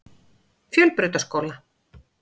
Fjölbrautaskóla